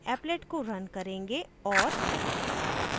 applet को run करेंगे और